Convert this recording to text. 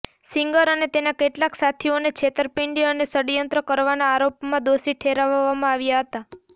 singer અને તેના કેટલાક સાથીઓને છેતરપિંડી અને ષડયંત્ર કરવાના આરોપમાં દોષી ઠેરવવામાં આવ્યા હતા